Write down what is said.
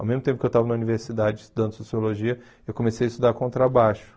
Ao mesmo tempo que eu estava na universidade estudando sociologia, eu comecei a estudar contrabaixo.